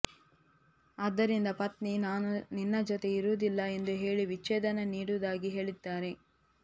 ಆದ್ದರಿಂದ ಪತ್ನಿ ನಾನು ನಿನ್ನ ಜೊತೆ ಇರುವುದಿಲ್ಲ ಎಂದು ಹೇಳಿ ವಿಚ್ಛೇದನ ನೀಡುವುದಾಗಿ ಹೇಳಿದ್ದಾರೆ